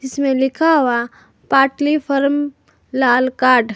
इसमें लिखा हुआ पाटली फॉर्म लाल कार्ड ।